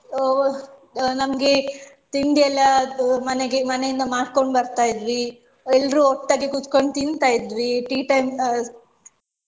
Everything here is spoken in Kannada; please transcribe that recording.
ಅಹ್ ನಮ್ಗೆ ತಿಂಡಿ ಎಲ್ಲ ಮನೆಗೆ ಮನೆಯಿಂದ ಮಾಡ್ಕೊಂಡು ಬರ್ತಾ ಇದ್ವಿ ಎಲ್ರು ಒಟ್ಟಾಗಿ ಕೂತಕೊಂಡು ತಿಂತಾ ಇದ್ವಿ tea time ಅಹ್